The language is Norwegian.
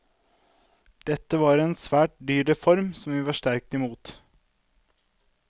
Dette var en svært dyr reform, som vi var sterkt imot.